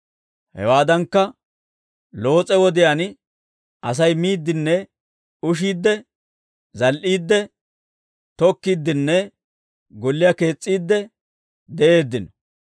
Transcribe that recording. «Hewaadankka, Loos'e wodiyaan, Asay miiddinne ushiidde, zal"iidde, tokkiiddinne golliyaa kees's'iide de'eeddino.